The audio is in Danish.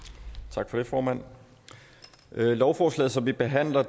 tak for det formand lovforslaget som vi behandler